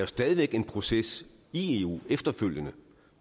stadig væk en proces i eu efterfølgende